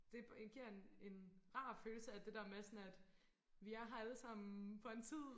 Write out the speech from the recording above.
det giver en en rar følelse af det der med vi er her alle sammen for en tid